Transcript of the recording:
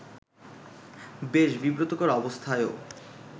বেশ বিব্রতকর অবস্থায়ও